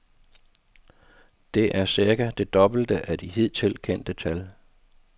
Det er cirka det dobbelte af de hidtil kendte tal.